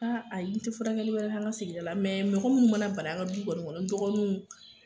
Aa ayi, n tɛ furakɛ wɛrɛ kɛ an ka sigida la , mɛ mɔgɔ minnu mana bana an ka du kɔni kɔnɔ ndɔgɔniw